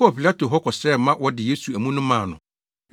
kɔɔ Pilato hɔ kɔsrɛ ma wɔde Yesu amu no maa no.